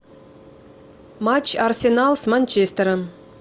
матч арсенал с манчестером